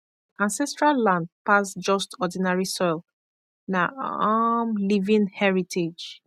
ancestral land pass just ordinary soil na um living heritage